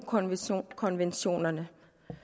konventionerne